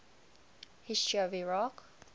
history of iraq